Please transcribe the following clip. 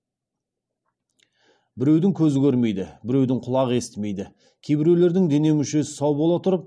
біреудің көзі көрмейді біреудің құлағы естімейді кейбіреулердің дене мүшесі сау бола тұрып